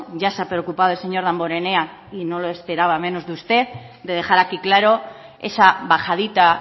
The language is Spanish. ya se ha preocupado el señor damborenea y no lo esperaba menos de usted de dejar aquí claro esa bajadita